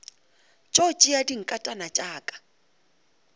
tšo tšea dinkatana tša ka